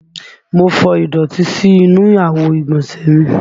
Mo fọ ìdọ̀tí sí inú àwo ìgbọ̀nsẹ̀ mi